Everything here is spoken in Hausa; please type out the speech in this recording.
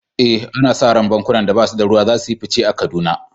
Eh, ana sa ran bankunan da ba su da ruwa za su yi fice a Kaduna.